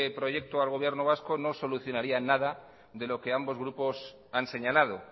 proyecto al gobierno vasco no solucionaría nada de lo que ambos grupos han señalado